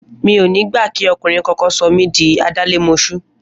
Mi ò ní gbà kí ọkùnrin kankan sọ mí di adálémoṣú!